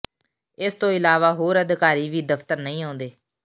ਇਸ ਤੋਂ ਇਲਾਵਾ ਹੋਰ ਅਧਿਕਾਰੀ ਵੀ ਦਫਤਰ ਨਹੀਂ ਆਉਂਦੇ